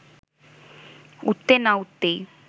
উঠতে না উঠতেই